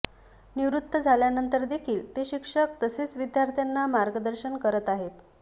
निवृत्त झाल्यानंतर देखील ते शिक्षक तसेच विद्यार्थ्यांना मार्गदर्शन करत आहेत